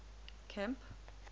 camp